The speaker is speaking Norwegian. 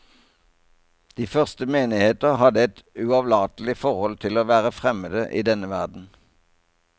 De første menigheter hadde et uavlatelig forhold til å være fremmede i denne verden.